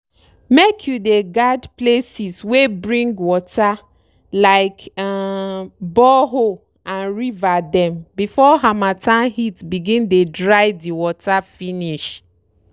make you dey guard places wey bring water like um borehole and river dem before harmattan heat begin dey dry de water finish.